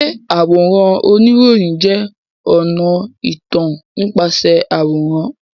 Ṣé àwòrán oníròyìn jẹ́ ọ̀nà ìtàn nípasẹ̀ àwòrán?